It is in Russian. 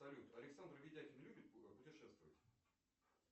салют александр видякин любит путешествовать